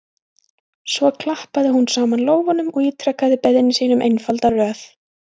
Svo klappaði hún saman lófunum og ítrekaði beiðni sína um einfalda röð.